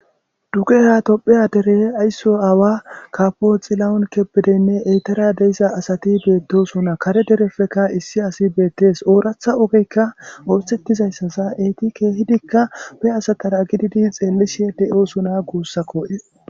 duge ha topheya dere aysso aawa kapoxillawun kepidenne eytara deiza asati beettosuna kare derefeka issi asi beettes ooratha ogeykka ootettizayssasa eeti keehidikka be asatara gididi xeellishe de7osuna guussa ko7es